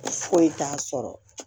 Foyi t'a sɔrɔ